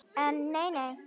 En nei nei.